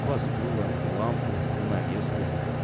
два стула лампу занавеску